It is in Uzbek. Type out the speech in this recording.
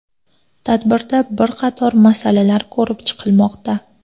Tadbirda bir qator masalalar ko‘rib chiqilmoqda.